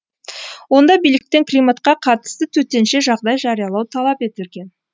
онда биліктен климатқа қатысты төтенше жағдай жариялау талап етілген